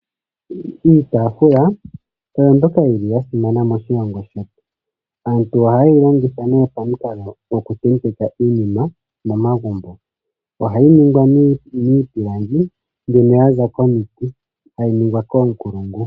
Iitaafula oyo mbyoka yili ya simana moshilongo shetu. Aantu oha ye yi longitha pamikalo dhoku tendeka iinima momagumbo. Ohayi ningwa miipilangi mbyoka ya za komiti, tayi ningwa koonkulungu.